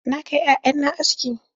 Na kai 'ya'ya na aski.